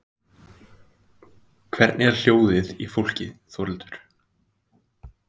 Lillý Valgerður: Hvernig er hljóðið í fólki Þórhildur?